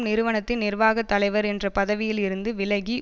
நிறுவனத்தின் நிர்வாக தலைவர் என்ற பதவியில் இருந்து விலகி